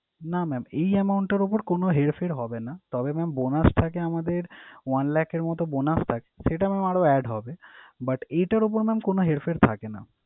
না mam এই amount টার উপর কোন হেরফের হবে না। তবে mam bonus থাকে আমাদের one lakh এর মত bonus থাকে, সেটা mam আরও add হবে but এটার উপর কোন হেরফের থাকে না।